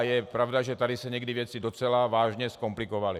A je pravda, že tady se někdy věci docela vážně zkomplikovaly.